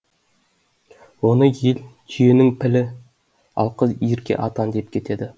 оны ел түйенің пілі ал қыз ерке атан деп атап кетеді